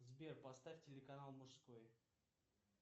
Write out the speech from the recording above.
сбер поставь телеканал мужской